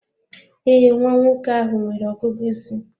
Ee, nwa nwoke ahụ nwere ọgụgụ isi.